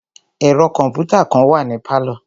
Ẹ̀ro kọ̀mpútà kàn wà ní pálọ̀.